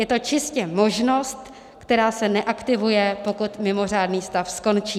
Je to čistě možnost, která se neaktivuje, pokud mimořádný stav skončí.